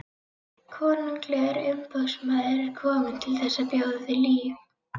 Konunglegur umboðsmaður er kominn til þess að bjóða þér líf.